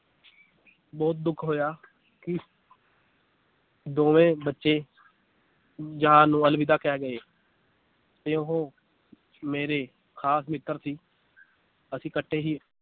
ਬਹੁਤ ਦੁੱਖ ਹੋਇਆ ਕਿ ਦੋਵੇਂ ਬੱਚੇ ਜਹਾਨ ਨੂੰ ਅਲਵਿਦਾ ਕਹਿ ਗਏ ਤੇ ਉਹ ਮੇਰੇ ਖਾਸ ਮਿੱਤਰ ਸੀ ਅਸੀ ਕੱਠੇ ਹੀ